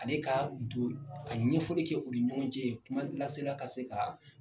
Ale ka don ka ɲɛfɔli kɛ u ni ɲɔgɔn cɛ kuma lasela ka se ka.